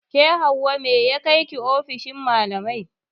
Ke Hauwa mai ya kaiki ofishin malamai?